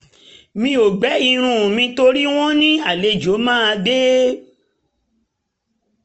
mi ò um gbẹ irun mi torí wọ́n ní um àlejò máa dé